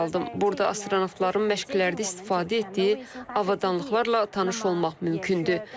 Burada astronavtların məşqlərdə istifadə etdiyi avadanlıqlarla tanış olmaq mümkündür.